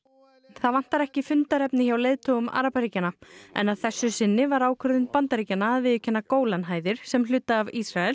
það vantar ekki fundarefni hjá leiðtogum arabaríkjanna en að þessu sinni var ákvörðun Bandaríkjanna að viðurkenna Gólanhæðir sem hluta af Ísrael